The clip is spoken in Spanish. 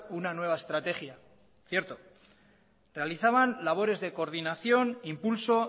una nueva estrategia cierto realizaban labores de coordinación impulso